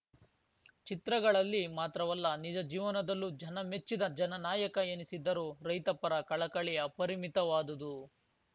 ಚಿತ್ರಗಳಲ್ಲಿ ಮಾತ್ರವಲ್ಲ ನಿಜ ಜೀವನದಲ್ಲೂ ಜನಮೆಚ್ಚಿದ ಜನನಾಯಕ ಎನಿಸಿದ್ದರು ರೈತಪರ ಕಳಕಳಿ ಅಪರಿಮಿತವಾದುದು